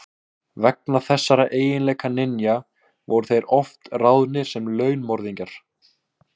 Vegna þessara eiginleika ninja voru þeir oft ráðnir sem launmorðingjar.